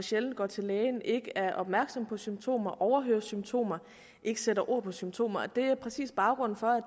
sjældent går til læge ikke er opmærksomme på symptomer overhører symptomer og ikke sætter ord på symptomer og det er præcis baggrunden for